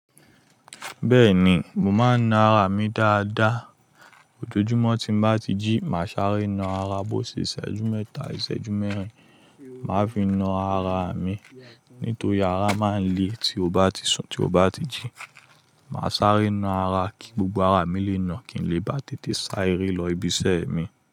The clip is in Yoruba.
Bẹ́ẹ̀ni, mo máa ń na ara mi dáadáa. Ojoojúmọ́ tí mo bá ti jí, màá sáré na ara. Bo ṣe ìṣẹ́jú mẹ́ta, ìṣẹ́jú mẹ́rin, màá fi na ara mi. Nítorí ara máa ń le tí o bá ti sùn, tí o bá ti jí. Màá sáré na ara kí gbogbo ara mi lè na, kí n lè bá tètè sáré lọ ibi iṣẹ́ mi.